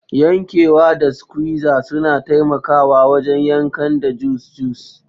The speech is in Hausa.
Yankewa da squizer suna taimakawa wajen yankan da juice juice.